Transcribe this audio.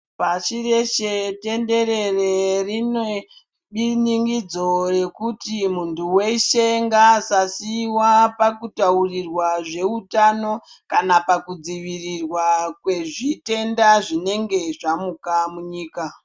Pashi reshe tenderere rinebinin'idzo rekuti munhu weshe ngasasiiwa pakutaurirwa zveutano kana pakudziirirwa kwezvitenda zvinenge zvamuka munyika.